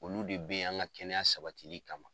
Olu de bɛ yen an ka kɛnɛya sabatili kama.